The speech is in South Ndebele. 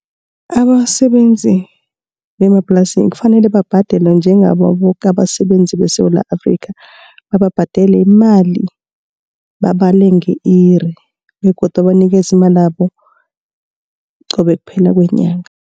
Abasebenzi bemaplasini kufanele babhadelwe njengabo boke abasebenzi beSewula Afrika. Bababhadele imali babale nge-iri begodu abanikeze imalabo qobe kuphela kwenyanga.